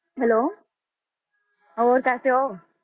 Hello ਹੋਰ ਕੈਸੇ ਹੋ?